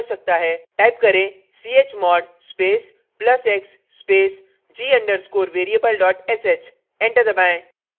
type करें chmod space plus x space g _ underscore variable sh enter दबाएं